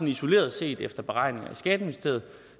isoleret set efter beregninger i skatteministeriet